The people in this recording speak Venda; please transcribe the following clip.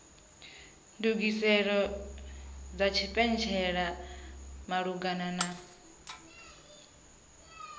ndugiselo dza tshipentshela malugana na